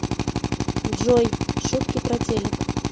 джой шутки про телек